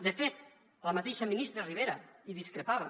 de fet la mateixa ministra ribera en discrepava